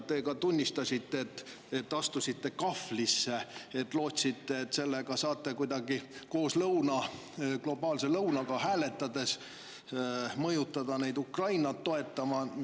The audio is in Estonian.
Te ka tunnistasite, et astusite kahvlisse: lootsite, et sellega saate kuidagi koos globaalse lõunaga hääletades mõjutada neid Ukrainat toetama.